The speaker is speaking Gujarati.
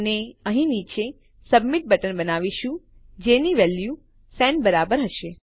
અને અહીં નીચે આપણે સબમિટ બટન બનાવીશું જેની વેલ્યુ સેન્ડ બરાબર હશે